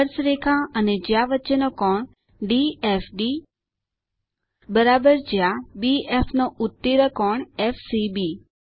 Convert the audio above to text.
સ્પર્શરેખા અને જ્યા વચ્ચેનો કોણ ડીએફબી જ્યા બીએફ નો ઉત્કીર્ણ કોણ એફસીબી